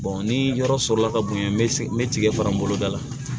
ni yɔrɔ sɔrɔla ka bonya n bɛ tigɛ fara n boloda la